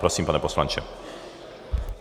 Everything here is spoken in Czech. Prosím, pane poslanče.